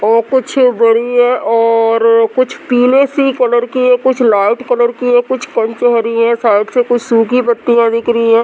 वो कुछ बड़ी है और कुछ पीले सी कलर की है। कुछ लाइट कलर की है। कुछ पिंक सी हरी है। साइड से कुछ सुखी पत्तियां दिख रही है।